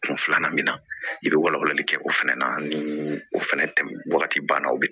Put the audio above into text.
Kun filanan min na i bɛ walawalali kɛ o fɛnɛ na ni o fɛnɛ tɛmɛn wagati banna o bi